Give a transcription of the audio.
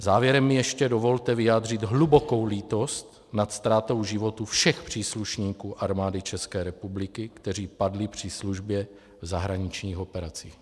Závěrem mi ještě dovolte vyjádřit hlubokou lítost nad ztrátou životů všech příslušníků Armády České republiky, kteří padli při službě v zahraničních operacích.